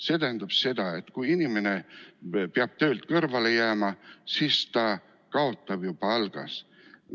See tähendab seda, et kui inimene peab töölt kõrvale jääma, siis ta kaotab ju palgas.